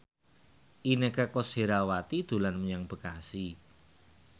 Inneke Koesherawati dolan menyang Bekasi